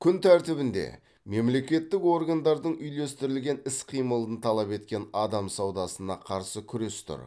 күн тәртібінде мемлекеттік органдардың үйлестірілген іс қимылын талап еткен адам саудасына қарсы күрес тұр